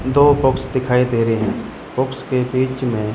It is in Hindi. दो बॉक्स दिखाई दे रहे बॉक्स के बीच में--